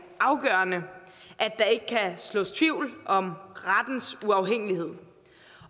afgørende at der ikke kan sås tvivl om rettens uafhængighed